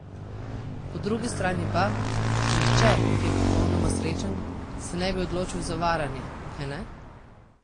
Po drugi strani pa, nihče, ki je popolnoma srečen, se ne bi odločil za varanje, kajne?